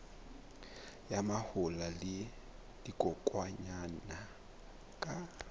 ya mahola le dikokwanyana ka